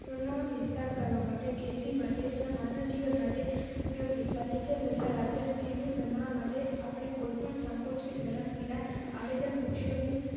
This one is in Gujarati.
ચુના વિસ્તાર કરવા માટે ખેતી માટે તથા માનવ જીવન માટે ઉપયોગી furniture તથા રાજ્ય જીનું બનાવવા માટે આપણે કોઈ પણ સંકોચ કે શરમ વિના આડેધડ વૃક્ષો નું